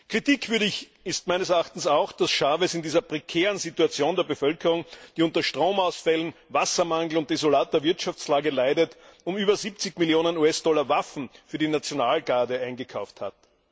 Kritikwürdig ist meines Erachtens auch, dass Chávez in dieser prekären Situation, in der die Bevölkerung unter Stromausfällen, Wassermangel und desolater Wirtschaftslage leidet, für über 70 Millionen US Dollar Waffen für die Nationalgarde eingekauft hat.